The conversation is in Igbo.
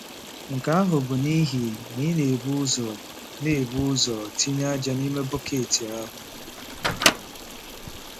Nke ahụ bụ n'ihi na ị na-ebu ụzọ na-ebu ụzọ tinye ájá n'ime bọket ahụ.